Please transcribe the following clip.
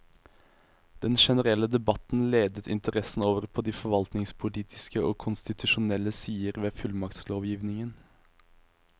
Den generelle debatten ledet interessen over på de forvaltningspolitiske og konstitusjonelle sider ved fullmaktslovgivningen.